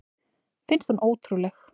Finnst hún ótrúleg.